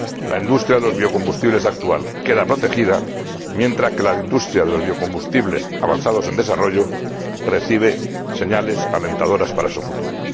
La industria de los biocombustibles actual queda protegida, mientras que la industria de los biocombustibles avanzados en desarrollo recibe señales alentadoras para su futuro.